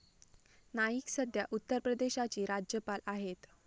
नाईक सध्या उत्तर प्रदेशाची राज्यपाल आहेत.